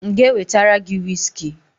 M ga-ewetara gi wiski?